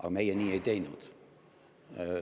Aga meie nii ei teinud.